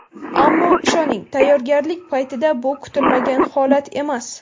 Ammo ishoning, tayyorgarlik paytida bu kutilmagan holat emas.